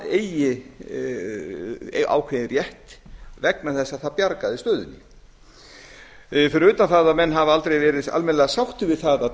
eigi ákveðinn rétt vegna þess að það bjargaði stöðunni fyrir utan það að menn hafa aldrei verið almennilega sáttir við það að